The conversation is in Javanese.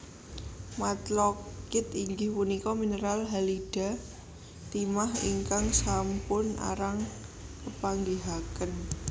Matlockit inggih punika mineral halida timah ingkang sampun arang kepanggihaken